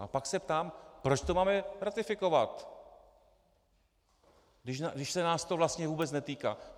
A pak se ptám, proč to máme ratifikovat, když se nás to vlastně vůbec netýká?